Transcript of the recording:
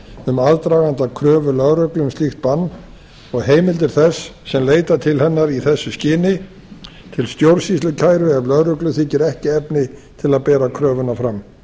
um aðdraganda kröfu lögreglu um slíkt bann og heimildir þess sem leita til hennar í þessu skyni til stjórnsýslukæru ef lögreglu þykir ekki efni til að bera kröfuna fram